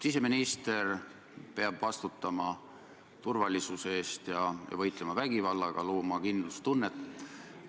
Siseminister peab vastutama turvalisuse eest ja võitlema vägivallaga, looma kindlustunnet.